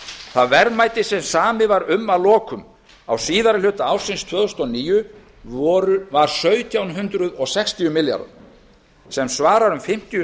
það verðmæti sem samið var um að lokum á síðari hluta ársins tvö þúsund og níu var sautján hundruð sextíu milljarðar sem svarar um fimmtíu og